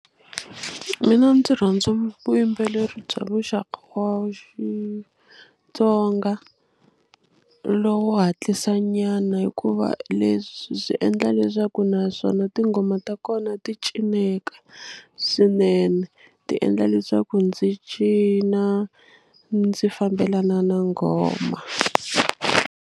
Mina ndzi rhandza vuyimbeleri bya muxaka wa Xitsonga lowu hatlisanyana hikuva leswi swi endla leswaku naswona tinghoma ta kona ti cineka swinene ti endla leswaku ndzi cina ndzi fambelana na nghoma.